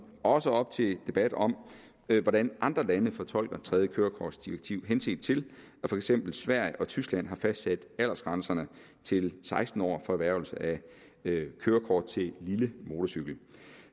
også op til debat om hvordan andre lande fortolker tredje kørekortdirektiv henset til at for eksempel sverige og tyskland har fastsat aldersgrænserne til seksten år for erhvervelse af kørekort til lille motorcykel